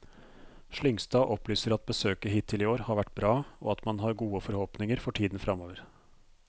Slyngstad opplyser at besøket hittil i år har vært bra, og at man har gode forhåpninger for tiden fremover.